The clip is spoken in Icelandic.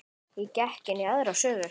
Ég gekk inn í aðra sögu.